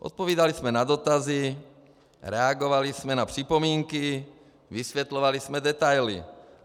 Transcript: Odpovídali jsme na dotazy, reagovali jsme na připomínky, vysvětlovali jsme detaily.